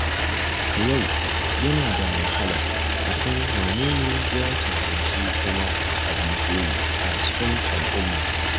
A yau, yana da wahala a san wanene ya cancanci zama abin koyi a cikin al’umma.